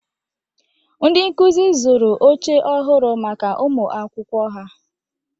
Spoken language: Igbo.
Ndị nkụzi zụrụ oche ọhụrụ maka ụmụ akwụkwọ ha.